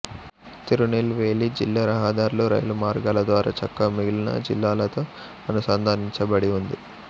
తిరునెల్వేలి జిల్లా రహదార్లు రైలు మార్గాల ద్వారా చక్కగా మిగిలిన జిల్లాలతో అనుసంధానించబడి ఉంది